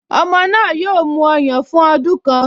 Ọmọ náà yóò mu ọyàn fún ọdún kan